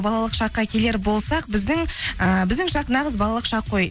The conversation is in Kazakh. балалық шаққа келер болсақ біздің ыыы біздің шақ нағыз балалық шақ қой